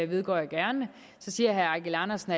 vedgår jeg gerne herre andersen